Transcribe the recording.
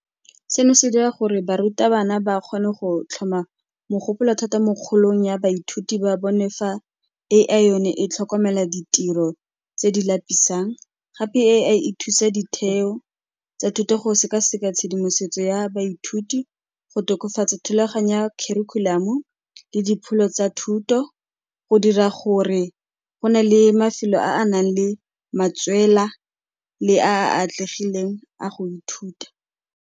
Seno se dira gore barutabana ba kgone go tlhoma mogopolo thata mo kgolong ya baithuti ba bone fa A_I yone e tlhokomela ditiro tse di lapisang. Gape A_I e thusa ditheo tsa thuto go sekaseka tshedimosetso ya baithuti, go tokafatsa thulaganyo ya curriculum-o le dipholo tsa thuto go dira gore go na le mafelo a a nang le matswela le a a atlegileng a go ithuta.